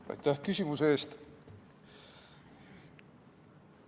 Aitäh küsimuse eest!